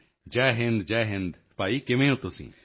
ਜੈ ਹਿੰਦ ਜੈ ਹਿੰਦ ਭਾਈ ਕਿਵੇਂ ਹੋ ਤੁਸੀਂ